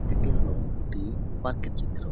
এটি হলো একটি পার্কের চিত্র।